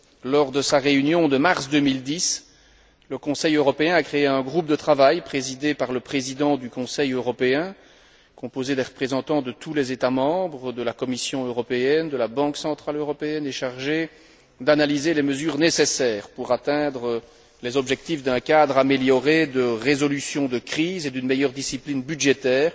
Lors de sa réunion de mars 2010, le Conseil européen a créé un groupe de travail présidé par le président du Conseil européen, composé de représentants de tous les États membres, de la Commission européenne, de la Banque centrale européenne, et chargé d'analyser les mesures nécessaires pour atteindre les objectifs d'un cadre amélioré de résolution de crise et d'une meilleure discipline budgétaire